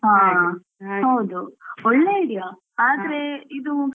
ಹಾ ಹೌದು ಒಳ್ಳೆ ಇದೆಯಾ ಆದ್ರೆ ಇದು ನಂಗೆ ಅನಿಸುದು,